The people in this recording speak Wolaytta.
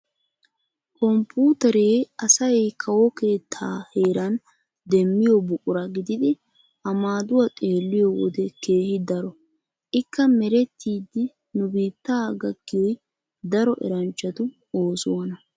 Komppuuteree asay kawo keettaa heeran demmiyo buqura gididi a maaduwa xeelliyo wode keehi daro. Ikka merettidi nu biittaa gakkiyiyoy daro eranchchatu oosuwana.